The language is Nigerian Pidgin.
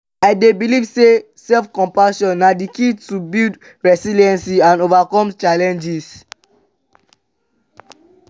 i dey believe say self-compassion na di key to build resilience and overcome challenges.